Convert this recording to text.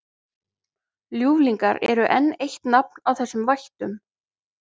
Ljúflingar er enn eitt nafn á þessum vættum.